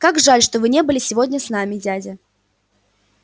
как жаль что вы не были сегодня с нами дядя